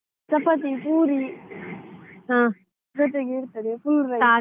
ಚಪಾತಿ, ಪೂರಿ ಜೊತೆಗೆ ಇರ್ತದೆ full rice .